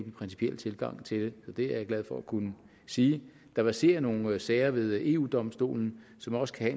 principielle tilgang til det det er jeg glad for at kunne sige der verserer nogle sager ved eu domstolen som også kan